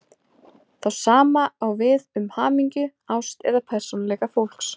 Það sama á við um hamingju, ást eða persónuleika fólks.